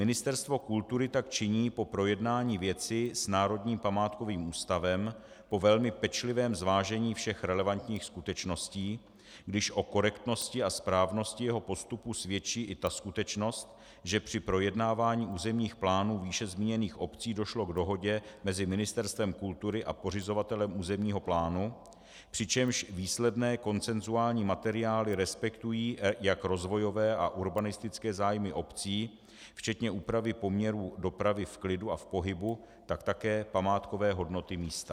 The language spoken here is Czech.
Ministerstvo kultury tak činí po projednání věci s Národním památkovým ústavem po velmi pečlivém zvážení všech relevantních skutečností, když o korektnosti a správnosti jeho postupu svědčí i ta skutečnost, že při projednávání územních plánů výše zmíněných obcí došlo k dohodě mezi Ministerstvem kultury a pořizovatelem územního plánu, přičemž výsledné konsenzuální materiály respektují jak rozvojové a urbanistické zájmy obcí včetně úpravy poměrů dopravy v klidu a v pohybu, tak také památkové hodnoty místa.